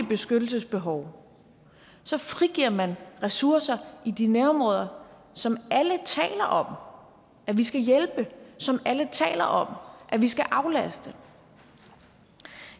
beskyttelsesbehov frigiver man ressourcer i de nærområder som alle taler om vi skal hjælpe som alle taler om vi skal aflaste